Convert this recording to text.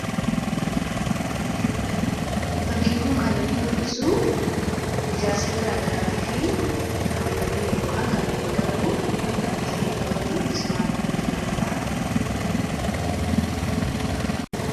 Fakkiin kun kan inni mul'isu ijaarsa gara garaatiif kan gargaaruu fi kan itti fayyadamamu 'Mismaara' kan jedhamudha jechuudha.